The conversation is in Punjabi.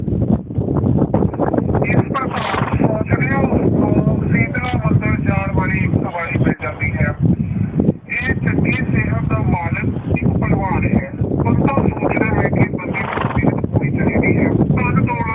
ਇਸ ਪ੍ਰਕਾਰ ਸੋਚਦਿਆਂ ਉਸਨੂੰ ਸੀਤਲਾ ਮੰਦਿਰ ਜਾਣ ਵਾਲੀ ਇੱਕ ਸਵਾਰੀ ਮਿਲ ਜਾਂਦੀ ਹੈ ਇਹ ਚੰਗੀ ਸਿਹਤ ਦਾ ਮਾਲਕ ਇੱਕ ਭਲਵਾਨ ਹੈ, ਬੰਤਾ ਸੋਚਦਾ ਹੈ ਕਿ ਬੰਦੇ ਦੀ ਸਿਹਤ ਹੋਣੀ ਚਾਹੀਦੀ ਹੈ ਧਨ ਦੋਲਤ